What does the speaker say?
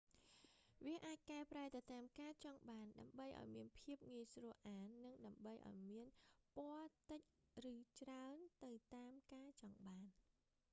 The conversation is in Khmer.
វាអាចកែប្រែទៅតាមការចង់បានដើម្បីឲ្យមានភាពងាយស្រួលអាន និងដើម្បីឲ្យមានពណ៌តិចឬច្រើនទៅតាមការចង់បាន